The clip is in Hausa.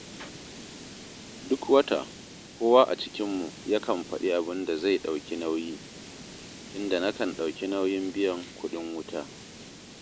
Duk wata kowa a cikinmu yakan faɗi abin da zai ɗauki nauyi, inda nakan ɗauki nauyin biyan kuɗin wuta